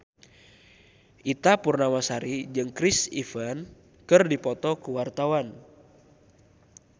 Ita Purnamasari jeung Chris Evans keur dipoto ku wartawan